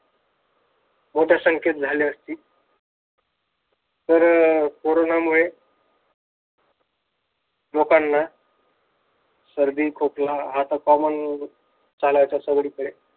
मोठ्या संख्येत झाली असती तर अह कोरोनामुळे लोकांना सर्दी खोकला हा तर common झालाय सगळीकडे